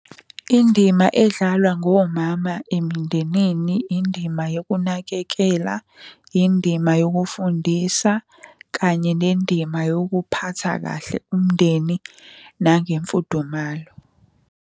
Indima edlalwa ngomama emindenini, indima yokunakekela, indima yokufundisa kanye nendima yokuphatha kahle umndeni nangemfudumalo.